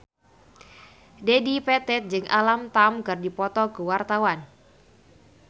Dedi Petet jeung Alam Tam keur dipoto ku wartawan